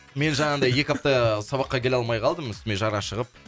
мен жаңағындай екі апта сабаққа келе алмай қалдым үстіме жара шығып